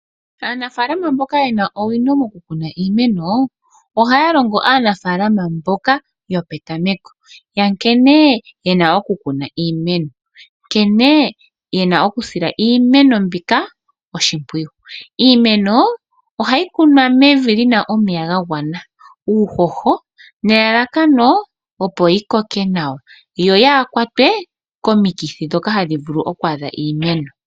Aanafalama mboka ye na owino mokukuna iimeno ohaya longo aanafalama mboka yopetameko nkene ye na okukuna iimeno, nkene ye na okusila iimeno mbika oshimpwiyu. Iimeno ohayi kunwa mevi li na omeya ga gwana, uuhoho nelalakano opo yi koke nawa yo yaa kwatwe komikithi ndhoka hadhi vulu oku adha iimeno.